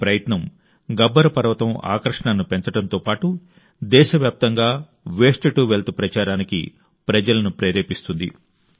ఈ ప్రయత్నం గబ్బర్ పర్వతం ఆకర్షణను పెంచడంతో పాటు దేశవ్యాప్తంగా వేస్ట్ టు వెల్త్ ప్రచారానికి ప్రజలను ప్రేరేపిస్తుంది